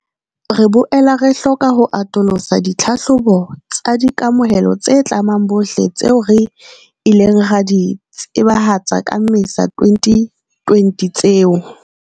Re boela re hloka ho atolosa ditlhahlobo tsa di kamohelo tse tlamang bohle tseo re ileng ra di tsebahatsa ka Mmesa 2020 tseo.